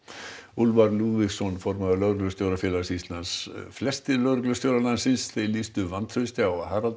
Úlfar Lúðvíksson formaður Lögreglustjórafélags Íslands flestir lögreglustjórar landsins lýstu vantrausti á Harald